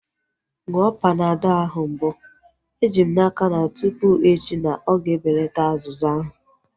Ṅụọ Panadọl ahu mbụ. Eji m n'aka na tụpụ echi na-ọga ebelata azụzụ ahu